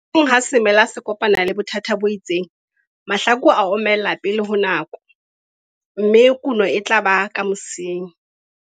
Hang ha semela se kopana le bothata bo itseng, mahlaku a omella pele ho nako, mme kuno e tla ba ka mosing.